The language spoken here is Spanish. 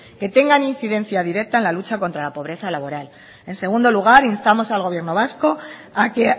que tengan incidencia directa en la lucha contra la pobreza laboral en segundo lugar instamos al gobierno vasco a que